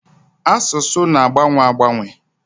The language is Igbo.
Asụsụ na-agbanwe agbanwe.